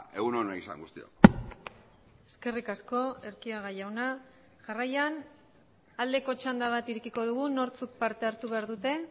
egun ona izan guztiok eskerrik asko erquiaga jauna jarraian aldeko txanda bat irekiko dugu nortzuk parte hartu behar dute